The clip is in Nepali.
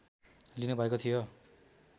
लिनुभएको थियो